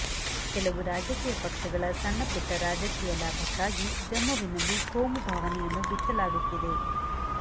ಕೆಲವು ರಾಜಕೀಯ ಪಕ್ಷಗಳ ಸಣ್ಣಪುಟ್ಟ ರಾಜಕೀಯ ಲಾಭಕ್ಕಾಗಿ ಜಮ್ಮುವಿನಲ್ಲಿ ಕೋಮು ಭಾವನೆಯನ್ನು ಬಿತ್ತಲಾಗುತ್ತಿದೆ